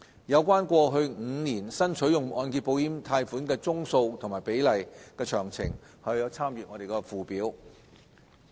有關過去5年新取用按揭保險貸款宗數和比例的詳情可參閱附表。